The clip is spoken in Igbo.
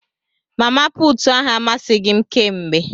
Mama puutụ ahu amasịghi m kémgbè.